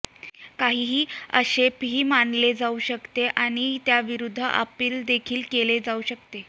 काहीही आक्षेपार्ह मानले जाऊ शकते आणि त्याविरूद्ध अपील देखील केले जाऊ शकते